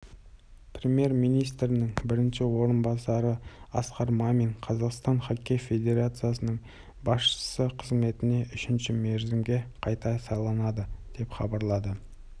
премьер-министрінің бірінші орынбасары асқар мамин қазақстан хоккей федерациясының басшысы қызметіне үшінші мерзімге қайта сайланды деп хабарлады